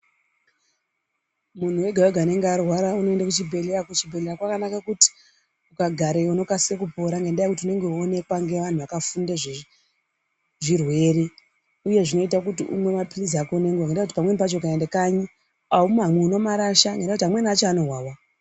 Munhu wega-wega unenge arwara unoende kuchibhehleya. Kuchibhehleya kwakanakire kuti ukagareyo unokasira kupora ngendaa yekuti unenge weionekwa ngeantu akafunde zvezvirwere uye zvinoite kuti umwe maphilisi ako ngenguwa ngendaa yekuti ukaende kanyi aumamwi unomarasha ngendaa yekuti amweni acho anowawa.